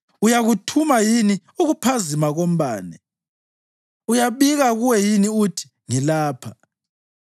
Uyakuthuma yini ukuphazima kombane? Uyabika kuwe yini uthi, ‘Ngilapha’?